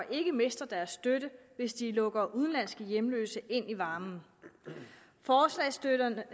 ikke mister deres støtte hvis de lukker udenlandske hjemløse ind i varmen forslagsstillerne